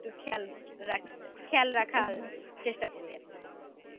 খেয়াল রাখি খেয়াল রাখার চেষ্টা করি আর কি